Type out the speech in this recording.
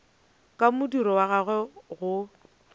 ka modiro wa gagwe go